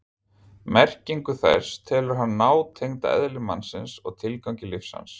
Merkingu þess telur hann nátengda eðli mannsins og tilgangi lífs hans.